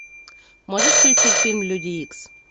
можешь включить фильм люди икс